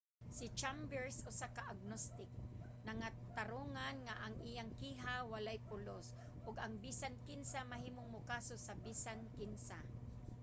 si chambers usa ka agnostic nangatarungan nga ang iyang kiha walay pulos ug ang bisan kinsa mahimong mokaso sa bisan kinsa.